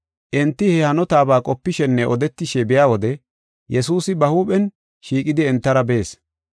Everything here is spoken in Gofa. Enti he hanotaba qopishenne odetishe biya wode Yesuusi ba huuphen shiiqidi entara bees.